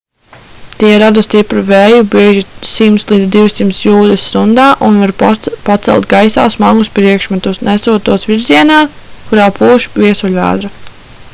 tie rada stipru vēju bieži 100-200 jūdzes stundā un var pacelt gaisā smagus priekšmetus nesot tos virzienā kurā pūš viesuļvētra